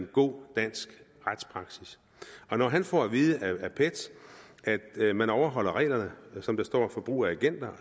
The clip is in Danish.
god dansk retspraksis og når han får at vide af pet at man overholder reglerne som der står for brug af agenter